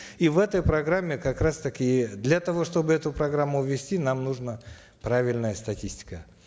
и в этой программе как раз таки для того чтобы эту программу ввести нам нужна правильная статистика